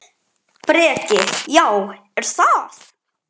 Breki: Já, er það?